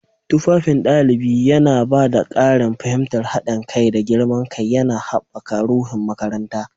Tufafin ɗalibi yana ba da ƙarin fahimtar haɗin kai da girman kai, yana haɓaka ruhun makaranta.